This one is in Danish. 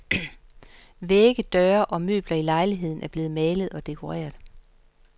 Vægge, døre, og møbler i lejligheden er blevet malet og dekoreret.